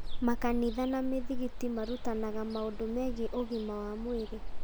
Makanitha na mĩthigiti marutanaga maũndũ megiĩ ũgima wa mwĩrĩ.